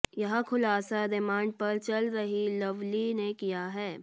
यह खुलासा रिमांड पर चल रही लवली ने किया है